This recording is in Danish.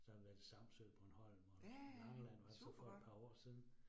Så været i Samsø, Bornholm og Langeland var så for et par år siden